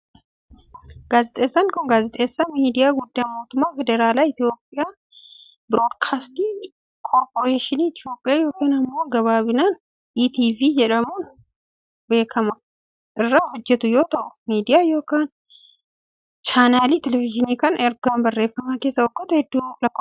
Gaazexeessaan kun, gaazexeessaa miidiyaa guddaa mootummaa federaalaa Itoophiyaa Biroodkaastii Korporeeshinii Itoophiyaa yookiin immoo gabaabbinaan ETV jedhamuun beekamu irra hojjatu yoo ta'u, miidiyaa yookiin chaanaaliin televizhiinii kun erga hundeeffamee kaasee waggoota hedduu lakkoofsiseera.